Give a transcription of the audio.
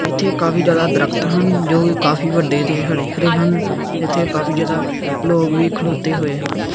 ਇਥੇ ਕਾਫੀ ਜਿਆਦਾ ਦਰੱਖਤ ਹਨ ਜੋ ਵੀ ਕਾਫੀ ਵੱਡੇ ਤੇ ਹਰੇ ਹਰੇ ਹਨ ਜਿੱਥੇ ਕਾਫੀ ਜਿਆਦਾ ਲੋਕ ਵੀ ਖਲੋਤੇ ਹੋਏ ਹਨ।